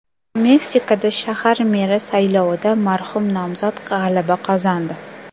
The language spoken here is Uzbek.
Meksikada shahar meri saylovida marhum nomzod g‘alaba qozondi.